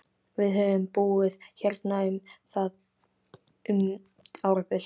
Við höfum búið hérna um árabil!